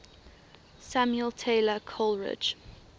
samuel taylor coleridge